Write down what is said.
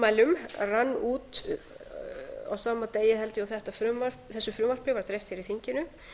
tilmælum rann út á sama degi held ég og þessu frumvarpi var dreift hér í þinginu